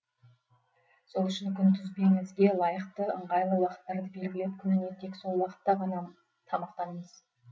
сол үшін күнтізбеңізге лайықты ыңғайлы уақыттарды белгілеп күніне тек сол уақытта ғана тамақтанисыз